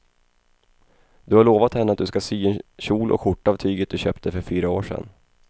Du har lovat henne att du ska sy en kjol och skjorta av tyget du köpte för fyra år sedan.